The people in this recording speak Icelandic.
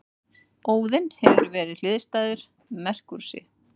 Óðinn hefur verið hliðstæður Merkúríusi.